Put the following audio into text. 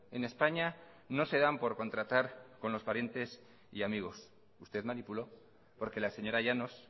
en españa no se dan por contratar con los parientes y amigos usted manipuló porque la señora llanos